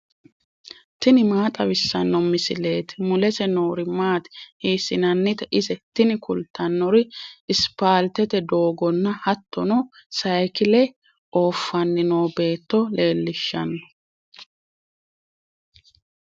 tini maa xawissanno misileeti ? mulese noori maati ? hiissinannite ise ? tini kultannori ispaaltete doogonna hattono sayiikile oofanni noo beetto leellishshanno.